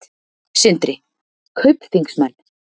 Sindri: Kaupþingsmenn?